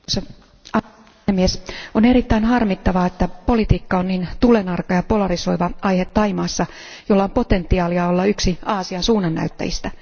Arvoisa puhemies, on erittäin harmittavaa, että politiikka on niin tulenarka ja polarisoiva aihe Thaimaassa, jolla on potentiaalia olla yksi Aasian suunnannäyttäjistä.